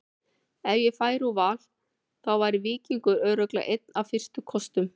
Ef ég færi úr Val þá væri Víkingur örugglega einn af fyrstu kostum.